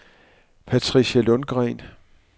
Patricia Lundgreen